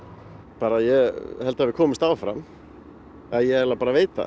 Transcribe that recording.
bara ég held að við komumst áfram eða ég eiginlega bara veit það